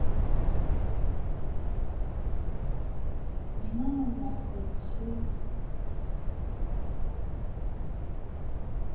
என்ன ma'am loss ஆயிடுச்சு